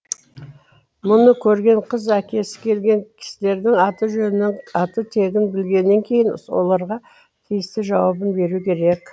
мұны көрген қыз әкесі келген кісілердің аты жөнін аты тегін білгеннен кейін оларға тиісті жауабын беруі керек